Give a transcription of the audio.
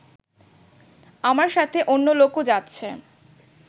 আমার সাথে অন্য লোকও যাচ্ছে